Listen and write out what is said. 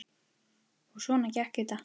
Og svona gekk þetta.